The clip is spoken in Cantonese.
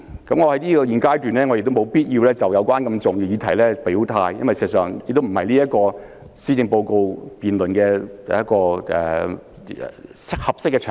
在現階段，我亦沒有必要就如此重要的議題表態，因為事實上，施政報告議案辯論不是一個合適的場合。